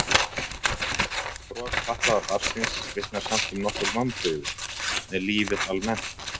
Bros fatlaða barnsins vitnar samt um nokkur vonbrigði með lífið almennt.